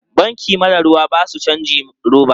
Banki mara ruwa ba su cajin roba.